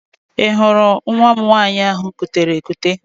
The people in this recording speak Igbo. Ị hụrụ nwa m nwaanyị ahụ m kutere ekute?